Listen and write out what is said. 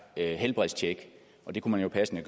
helbredstjek og det kunne man jo passende